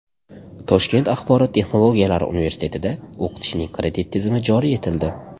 Toshkent axborot texnologiyalari universitetida o‘qitishning kredit tizimi joriy etildi.